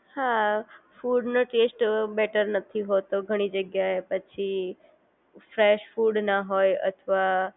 હા ફૂડનો ટેસ્ટ ઘણી જગ્યાએ બેટર નથી હોતો ઘણી જગ્યા એ પછી ફ્રેશ ફૂડ ના હોય અથવા